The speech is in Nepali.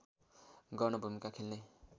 गर्न भूमिका खेल्ने